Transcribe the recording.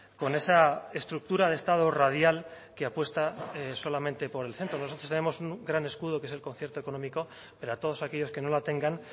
con esa estructura de estado radial que apuesta solamente por el centro nosotros tenemos un gran escudo que es el concierto económico pero a todos aquellos que no la tengan